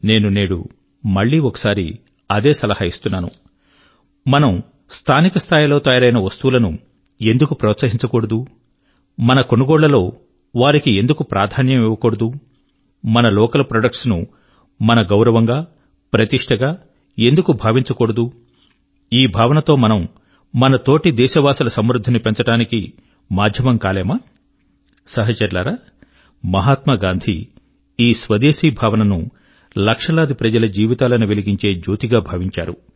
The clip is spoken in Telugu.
నేను నేడు మళ్ళీ ఒకసారి అదే సలహా ఇస్తున్నాను మనము స్థానిక స్థాయి లో తయారైన వస్తువుల ను ఎందుకు ప్రోత్సహించకూడదు మన కొనుగోళ్ళలో వారికి ఎందుకు ప్రాధాన్యం ఇవ్వకూడదు మన లోకల్ ప్రాడక్ట్స్ ను మన గౌరవంగా ప్రతిష్ట గా ఎందుకు భావించకూడదు ఈ భావనతో మనము మన తోటి దేశవాసుల సమృద్ధి ని పెంచడానికి మాధ్యమం కాలేమా సహచరులారా మహాత్మా గాంధీ ఈ స్వదేశీ భావన ను లక్షలాది ప్రజల జీవితాల ను వెలిగించే జ్యోతి గా భావించారు